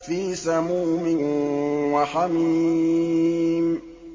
فِي سَمُومٍ وَحَمِيمٍ